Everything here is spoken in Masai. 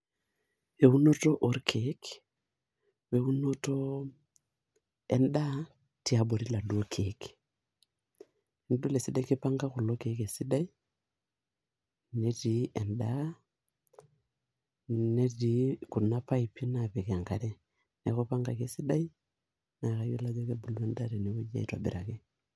Eunoto orkiek weunoto endaa tiabori iladuoo kiek , nidol esidai kipanga kulo kiek esidai , netii endaa , netii kuna paipi napik enkare , niaku ipangaki esidai naa kayiolo ajo kebulu endaa tenewueji aitobiraki